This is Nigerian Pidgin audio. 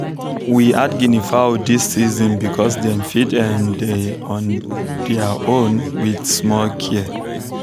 we add guinea fowl dis season because dem fit um dey on there own with small care